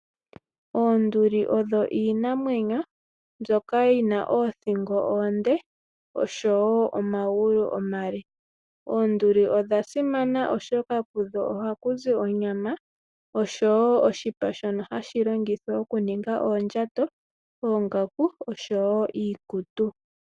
Oonduli odho iinamwenyo mbyoka yina oothingo oonde oshowo omagulu omale. Oonduli odha simana oshoka kudho ohaku zi onyama oshowo oshipa shono hashi longithwa okuninga oondjato, oongaku oshowo iikutu.